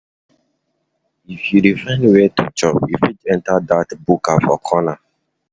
If you dey find where to chop, you fit enter dat buka for corner.